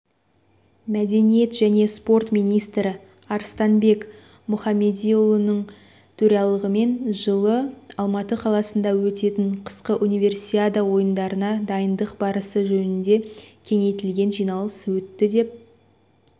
мәдениет және спорт министрі арыстанбек мұхамедиұлының төрағалығымен жылы алматы қаласында өтетін қысқы универсиада ойындарына дайындық барысы жөнінде кеңейтілген жиналыс өтті деп